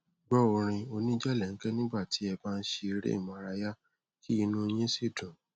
gbọ orin oníjẹlẹńkẹ nígbà tí ẹ bá ń ṣe eré ìmárayá kí inú yín sì dùn